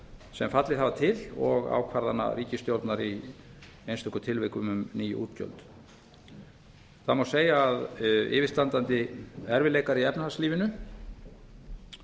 sem fallið hafa til og ákvarðana ríkisstjórnar í einstökum tilvikum um ný útgjöld það má segja að yfirstandandi erfiðleikar í efnahagslífinu